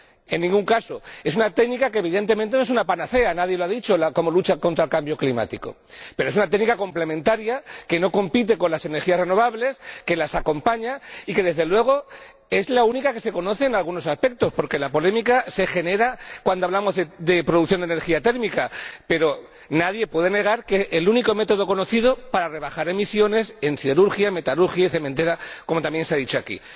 en ningún caso. Es una técnica que, evidentemente, no es una panacea nadie lo ha dicho como lucha contra el cambio climático, pero es una técnica complementaria que no compite con las energías renovables, que las acompaña y que, desde luego, es la única que se conoce en algunos aspectos, porque la polémica se genera cuando hablamos de producción de energía térmica, pero nadie puede negar que es el único método conocido para rebajar emisiones en siderurgia, metalurgia e industria cementera, como también se ha dicho aquí.